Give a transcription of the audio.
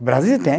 O Brasil tem.